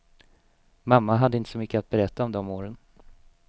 Mamma hade inte så mycket att berätta om de åren.